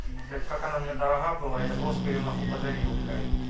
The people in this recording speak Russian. и блять как она мне дорога была я просто её нахуй подарил блять